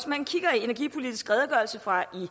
man kigger i energipolitisk redegørelse fra i